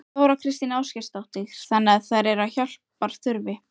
Þóra Kristín Ásgeirsdóttir: Þannig að þær eru hjálpar þurfi?